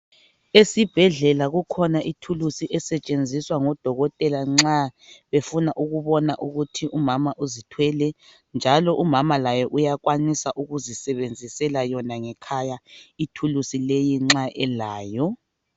Esibhedlela kukhona ithulusi esetshenziswa ngodokotela nxa befuna ukubona ukuthi umama uzithwele njalo umama laye uyakwanisa ukuzisebenzisela ngekhaya ithulusi leyi nxa elayo.